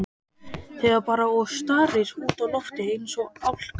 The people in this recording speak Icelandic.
Þegir bara og starir út í loftið eins og álka.